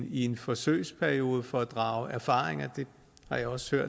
i en forsøgsperiode for at drage erfaringer det har jeg også